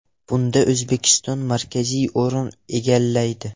Bunda O‘zbekiston markaziy o‘rin egallaydi.